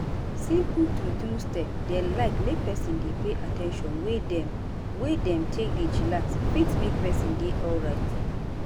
simple true true step dem like make peson dey pay at ten tion to way dem wey dem take dey chillax fit make peson dey alrite.